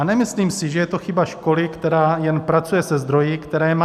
A nemyslím si, že je to chyba školy, která jen pracuje se zdroji, které má.